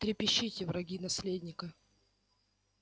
трепещите враги наследника